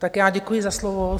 Tak já děkuji za slovo.